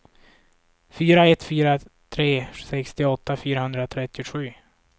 fyra ett fyra tre sextioåtta fyrahundratrettiosju